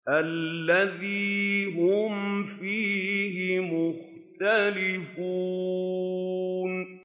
الَّذِي هُمْ فِيهِ مُخْتَلِفُونَ